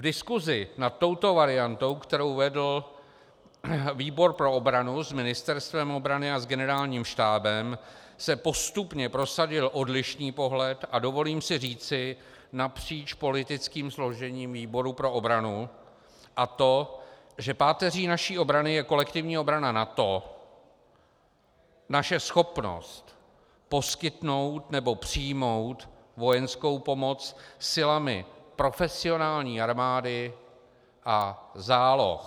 V diskusi nad touto variantou, kterou vedl výbor pro obranu s Ministerstvem obrany a s Generálním štábem, se postupně prosadil odlišný pohled, a dovolím si říci napříč politickým složením výboru pro obranu, a to, že páteří naší obrany je kolektivní obrana NATO, naše schopnost poskytnout nebo přijmout vojenskou pomoc silami profesionální armády a záloh.